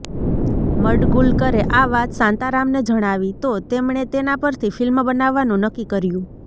મડગુલકરે આ વાત શાંતારામને જણાવી તો તેમણે તેના પરથી ફિલ્મ બનાવવાનું નક્કી કર્યું